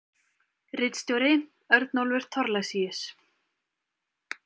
Ritstjóri: Örnólfur Thorlacius.